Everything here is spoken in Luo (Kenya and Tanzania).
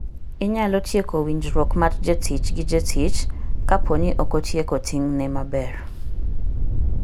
Inyalo tieko winjruok mar jatich gi jatich kapo ni okotieko ting'ne maber.